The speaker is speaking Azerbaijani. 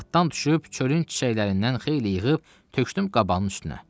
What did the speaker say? Atdan düşüb çölün çiçəklərindən xeyli yığıb tökdüm qabanın üstünə.